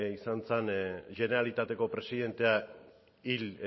izan zen generalitateko presidentea hil